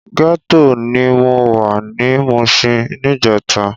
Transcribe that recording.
Gètó ni mó wá ni Mushin nijètá